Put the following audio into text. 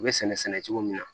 U bɛ sɛnɛ cogo min na